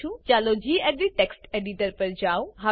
ચાલો હું gedit text editor પર જાઉં